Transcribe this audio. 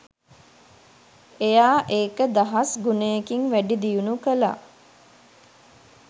එයා ඒක දහස් ගුණයකින් වැඩි දියුණු කළා.